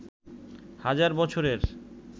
হাজার বছরের